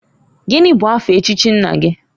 Gini bụ afa echichi nna gi?